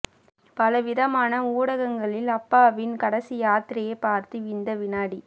பல விதமான ஊடகங்களில் அப்பாவின் கடைசி யாத்திரையை பார்த்து இந்த வினாடி